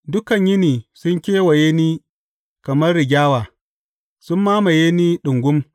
Dukan yini sun kewaye ni kamar rigyawa; sun mamaye ni ɗungum.